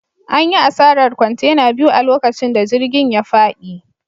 An yi asarar kwantena biyu a lokacin da jirgin ya fadi.